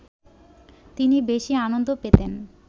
তিনি বেশি আনন্দ পেতেন